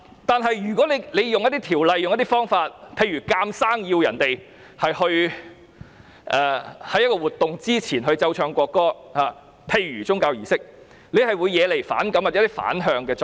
但是，若要使用一些條例或方法，強行要求市民在一個活動之前，例如宗教儀式，奏唱國歌，便會惹來反感或產生反向作用。